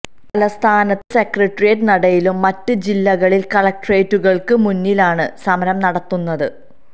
തലസ്ഥാനത്ത് സെക്രട്ടേറിയേറ്റ് നടയിലും മറ്റ് ജില്ലകളിൽ കളക്ട്രേറ്റുകൾക്ക് മുന്നിലുമാണ് സമരം നടത്തുന്നത്